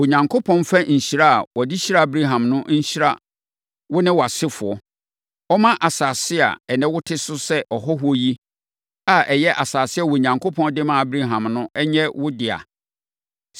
Onyankopɔn mfa nhyira a ɔde hyiraa Abraham no nhyira wo ne wʼasefoɔ. Ɔmma asase a ɛnnɛ wote so sɛ ɔhɔhoɔ yi a ɛyɛ asase a Onyankopɔn de maa Abraham no nyɛ wo dea.”